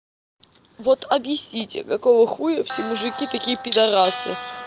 вот объясните какого хуя все мужики такие пидарасы